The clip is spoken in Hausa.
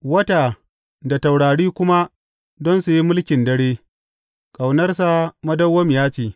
Wata da taurari kuma don su yi mulkin dare; Ƙaunarsa madawwamiya ce.